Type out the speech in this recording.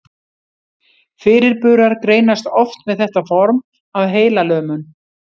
Fyrirburar greinast oft með þetta form af heilalömun.